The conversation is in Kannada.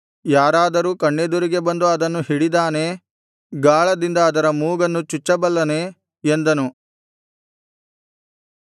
ಯಾರಾದರೂ ಕಣ್ಣೆದುರಿಗೆ ಬಂದು ಅದನ್ನು ಹಿಡಿದಾನೇ ಗಾಳದಿಂದ ಅದರ ಮೂಗನ್ನು ಚುಚ್ಚಬಲ್ಲನೇ ಎಂದನು